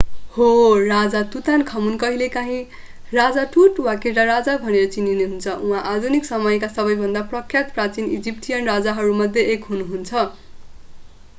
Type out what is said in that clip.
हो राजा तुतानखमुन कहिलेकाँही राजा टुट वा केटा राजा भनेर चिनिनुहुन्छ उहाँ आधुनिक समयका सबैभन्दा प्रख्यात प्राचीन इजिप्टियन राजाहरूमध्ये एक हुनुहुन्छ